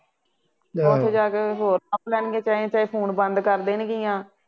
ਉੱਥੇ ਜਾ ਕੇ ਕੋਈ ਹੋਰ ਲੱਭ ਲੈਣਗੇ ਚਾਹੇ ਚਾਹੇ ਫੋਨ ਬੰਦ ਕਰ ਦੇਣਗੀਆਂ